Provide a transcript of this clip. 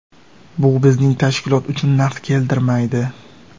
Bu bizning tashkilot uchun naf keltirmaydi.